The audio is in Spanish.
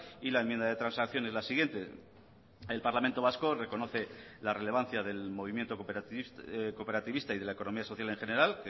y la enmienda de transacción es la siguiente el parlamento vasco reconoce la relevancia del movimiento cooperativista y de la economía social en general